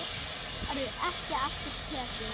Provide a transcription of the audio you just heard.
Það verður ekki aftur tekið.